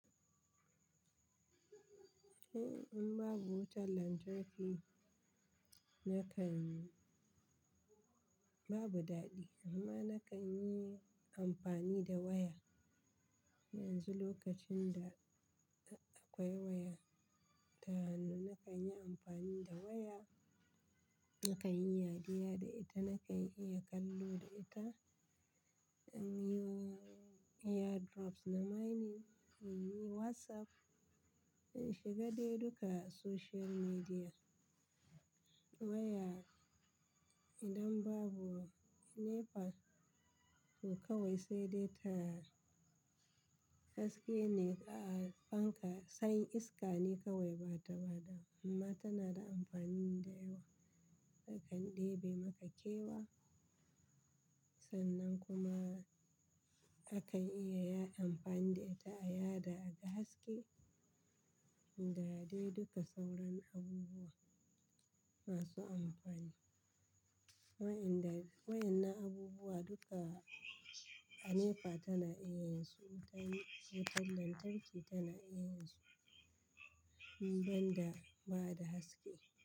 Eh, in babu wutar lantarki yakan babu daɗi amma na kan yi amfani da waya. Yanzu lokacin da akwai waya ta hannu, na kan yi amfani da waya. Na kan yi yadiya da ita, na kan iya kallo da ita, in yi airdrops na mining, in yi WhatsApp, in shiga dai duka social media. Waya idan babu NEPA to kawai sai dai ta haske ne a fanka, sany iska ne kawai bata bada amma tana da amfani da yawa. Takan ɗebe maka kewa sannan kuma akan iya ya amfani da ita a yada aga haske da dai duka sauran abubuwa masu amfani. Wa'inda wayan na abubuwa duka a NEPA tana iya yin su, wutar lantarki tana iya yin su banda ba da haske.